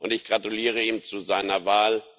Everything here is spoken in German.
Ich gratuliere ihm zu seiner Wahl.